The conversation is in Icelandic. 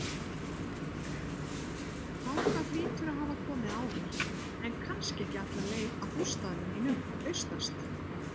Þangað hlýturðu að hafa komið áður, en kannski ekki alla leið að bústaðnum mínum, austast.